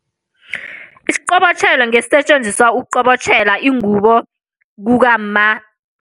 Isiqobotjhelo ngesisetjenziswa ukuqobotjhela ingubo kukamma.